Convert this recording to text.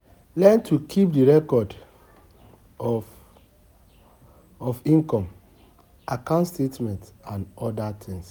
Learn to keep di record of income, account statement and oda things